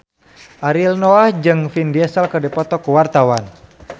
Ariel Noah jeung Vin Diesel keur dipoto ku wartawan